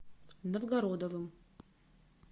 новгородовым